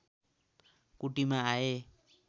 कुटीमा आए